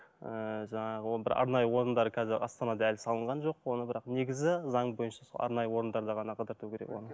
ыыы жаңағы ол бір арнайы орындары қазір астанада әлі салынған жоқ оны бірақ негізі заң бойынша сол арнайы орындарда ғана қыдырту керек оны